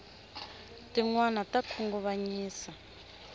tinwani ta khunguvanyisa